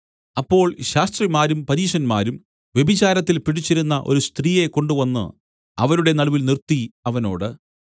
അപ്പോൾ ശാസ്ത്രിമാരും പരീശന്മാരും വ്യഭിചാരത്തിൽ പിടിച്ചിരുന്ന ഒരു സ്ത്രീയെ കൊണ്ടുവന്നു അവരുടെ നടുവിൽ നിർത്തി അവനോട്